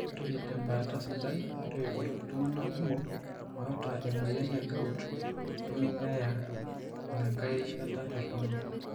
ore tembaata sidai, ore iltungana kumok loota emoyian egout nemebaya inangae rishata torono.